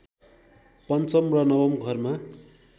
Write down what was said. पञ्चम र नवम घरमा